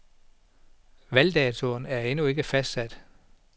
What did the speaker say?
Valgdatoen er endnu ikke fastsat.